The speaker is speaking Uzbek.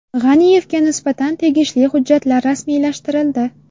G‘aniyevga nisbatan tegishli hujjatlar rasmiylashtirildi.